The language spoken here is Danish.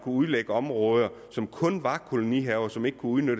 udlægge områder som kun var kolonihaver og som ikke kunne